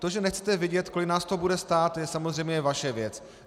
To, že nechcete vědět, kolik nás to bude stát, je samozřejmě vaše věc.